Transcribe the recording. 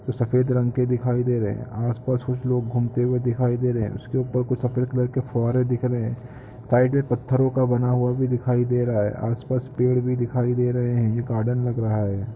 कुछ सफ़ेद रंग के दिखाई दे रहे हैं आसपास कुछ लोग घूमते हुए दिखाई दे रहे हैं उसके ऊपर कुछ सफ़ेद कलर के फुवारे दिख रहे हैं साईड में पत्थरों का बना हुआ भी दिखाई दे रहा है आसपास पेड़ भी दिखाई दे रहे हैं ये गार्डन लग रहा है।